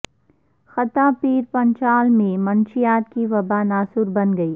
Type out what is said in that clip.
خطہ پیر پنچال میں منشیات کی وباءناسور بن گئی